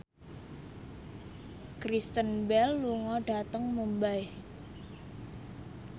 Kristen Bell lunga dhateng Mumbai